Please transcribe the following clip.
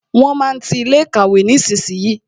Wọn máa ti ilé ìkàwé nísinsìnyí